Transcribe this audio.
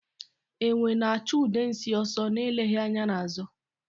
Enwe na-achụ Udensi ọsọ na-eleghị anya n'azụ.